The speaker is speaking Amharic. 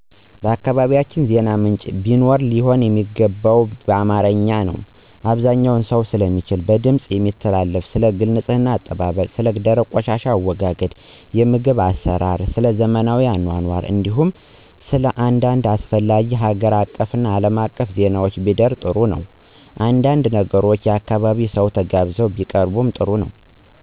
በአካባቢያቸን ዜና ምንጭ ቢኖር ሊሆን የሚገባው በአማርኛ(አብዛኛው ሰው ስለሚችል) በድምፅ የሚተላለፍና ስለ ግልና አካባቢ ንፅህና፣ የደረቅና ፈሳሽ ቆሻሻ አወጋገድ፣ የምግብ አሰራርና ስለዘመናዊ አኗኗር እንዲሁም ስለአንዳድ አስፈላጊ ሀገር አቀፍና አለም አቀፍ ዜናዎች ቢደር ጥሩ ነው። አንዳንድ ነገሮች የአካባቢው ሰው ተጋብዞ ቢያቀርብ ጥሩ ነው።